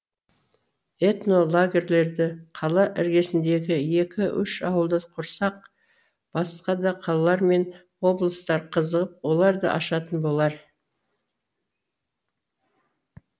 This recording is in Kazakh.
этно лагерьлерді қала іргесіндегі екі үш ауылда құрсақ басқа да қалалар мен облыстар қызығып олар да ашатын болар